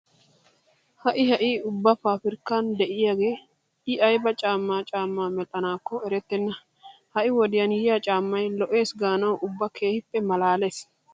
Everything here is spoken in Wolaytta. Ha"i ha"i ubba paafirkka de'iyagee I ayba caammaa caammaa medhdhanaakko erettenna. Ha"i wodiyan yiya caammay lo'eesi gaanawu ubba keehippe maalaalees!